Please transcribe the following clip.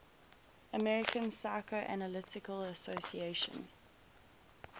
american psychoanalytic association